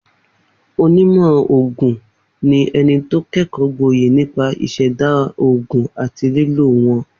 Onímọ̀ ògùn ni e̩ni tó ké̩kò̩ó̩ gboyè nípa ìs̩è̩dá ògùn àti lílò wó̩n